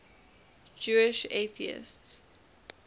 jewish atheists